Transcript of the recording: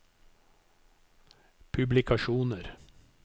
publikasjoner